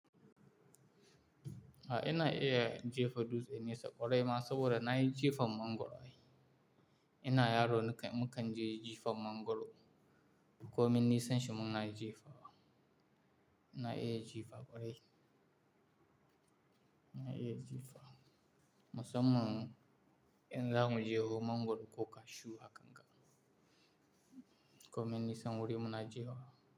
A ina iya jefa dutse nesa ƙwarai ma saboda na yi jefa mangoro Ina yaro mukan je jifam mangoro, ko min nisan shi mun na jifa. Ina iya jefa ƙwarai. Ina iya jifa. Musamman in za mu jeho mangoro ko kashu haka, ko min nisan wuri muna jefa.